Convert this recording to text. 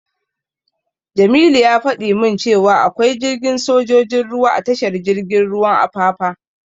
Jamilu ya fada min cewa akwai jiragen sojojin ruwa a tashar jirgin ruwan Apapa.